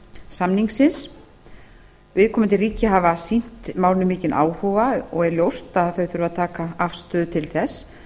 svalbarðasamningsins viðkomandi ríki hafa sýnt málinu mikinn áhuga og er ljóst að þau þurfa að taka afstöðu til þess